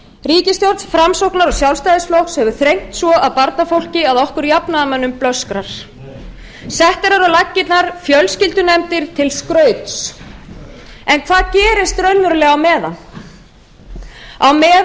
ríkisstjórn framsóknar og sjálfstæðisflokks hefur þrengt svo að barnafólki að okkur jafnaðarmönnum blöskrar settar eru á laggirnar fjölskyldunefndir til skrauts en hvað gerist raunverulega á meðan á meðan